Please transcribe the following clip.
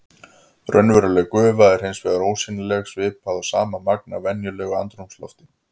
Raunveruleg gufa er hins vegar ósýnileg svipað og sama magn af venjulegu andrúmslofti.